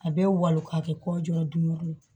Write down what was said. A bɛ walo ka kɛ kɔ jɔrɔ dun yɔrɔ ye